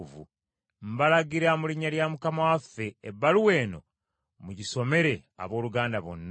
Mbalagira mu linnya lya Mukama waffe ebbaluwa eno mugisomere abooluganda bonna.